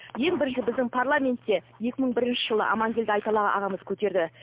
ең бірінші біздің парламентте екі мың бірінші жылы амангелді айталы ағамыз көтерді